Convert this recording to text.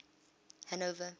hanover